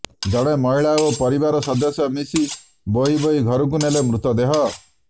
ଜଣେ ମହିଳା ଓ ପରିବାର ସଦସ୍ୟ ମିଶି ବୋହି ବୋହି ଘରକୁ ନେଲେ ମୃତଦେହ